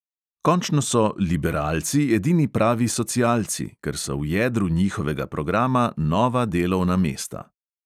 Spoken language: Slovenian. Končno so liberalci edini pravi socialci, ker so v jedru njihovega programa nova delovna mesta.